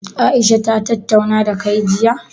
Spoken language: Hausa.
Aisha ta tattauna dakai jiya?